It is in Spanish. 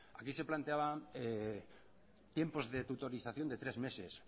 aquí se planteaban tiempos de tutorización de tres meses